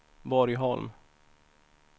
Borgholm